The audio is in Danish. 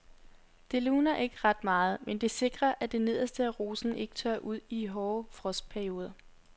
Det luner ikke ret meget, men det sikrer at det nederste af rosen ikke tørrer ud i hårde frostperioder.